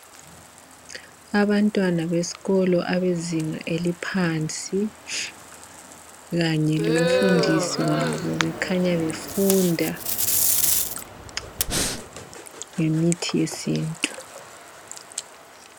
Abantwana besikolo abezinga eliphansi kanye lomfundisi wabo bekhanya befunda ngemithi yesintu.